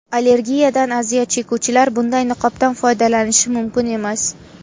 Allergiyadan aziyat chekuvchilar bunday niqobdan foydalanishi mumkin emas.